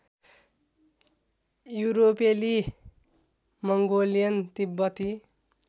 युरोपेली मङ्गोलियन तिब्बती